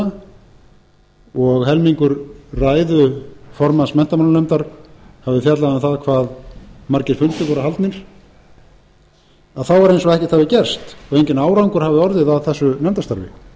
nefndina og helmingur ræðu formanns menntamálanefndar hafi fjallað um það hvað margir fundir voru haldnir er eins og ekkert hafi gerst enginn árangur hafi orðið af þessu nefndarstarfi